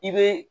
I be